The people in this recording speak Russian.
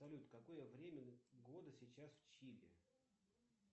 салют какое время года сейчас в чили